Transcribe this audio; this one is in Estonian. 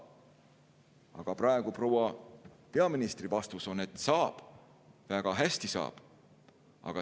Aga praegu proua peaministri vastus on, et saab, väga hästi saab.